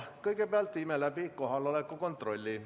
Kõigepealt viime läbi kohaloleku kontrolli.